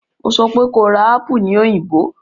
Mo sọ pé kó ra apù ní Òyìngbò!